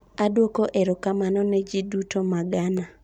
"Adwoko erokamano ne ji duto ma Ghana."